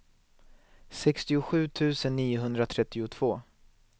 sextiosju tusen niohundratrettiotvå